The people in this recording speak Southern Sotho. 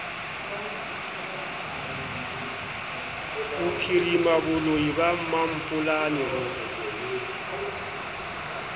bophirima boloi ba mampolane bo